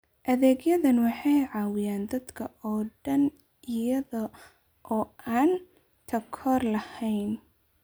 Adeegyadani waxay caawiyaan dadka oo dhan iyada oo aan takoor lahayn.